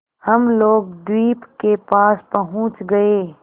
हम लोग द्वीप के पास पहुँच गए